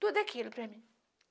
Tudo aquilo para mim.